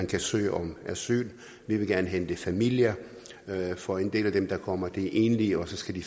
kan søge om asyl vi vil gerne hente familier for en del af dem der kommer er enlige og så skal de